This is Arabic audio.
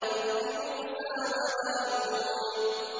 رَبِّ مُوسَىٰ وَهَارُونَ